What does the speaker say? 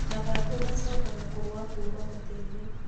Mathangũ maacokaga kũgwa kũma mũtĩ-inĩ.